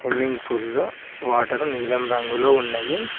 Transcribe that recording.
Swimming pool లో water నీలం రంగులో ఉన్నయి.